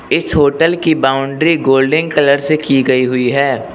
इस होटल की boundary golden colour से की गई हुई है।